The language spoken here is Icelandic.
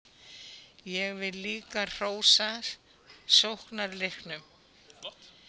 Ég vil líka hrósa sóknarleiknum.